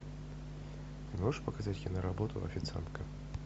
можешь показать киноработу официантка